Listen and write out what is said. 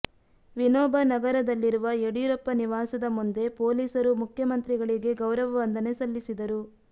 ವಿನೋಬ ನಗರದಲ್ಲಿರುವ ಯಡಿಯೂರಪ್ಪ ನಿವಾಸದ ಮುಂದೆ ಪೊಲೀಸರು ಮುಖ್ಯಮಂತ್ರಿಗಳಿಗೆ ಗೌರವ ವಂದನೆ ಸಲ್ಲಿಸಿದರು